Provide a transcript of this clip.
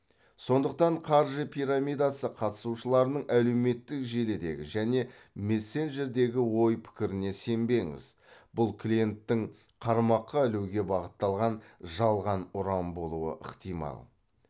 сондықтан қаржы пирамидасы қатысушыларының әлеуметтік желідегі және мессенджердегі ой пікіріне сенбеңіз бұл клиенттің қармаққа ілуге бағытталған жалған ұран болуы ықтимал